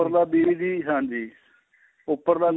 ਉੱਪਰਲਾ BP ਹਾਂਜੀ ਉੱਪਰਲਾ